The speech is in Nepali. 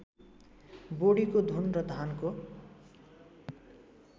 बोडीको घुन र धानको